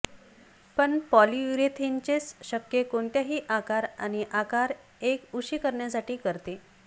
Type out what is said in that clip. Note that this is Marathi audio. पण पॉलीयुरेथेनचेच शक्य कोणत्याही आकार आणि आकार एक उशी करण्यासाठी करते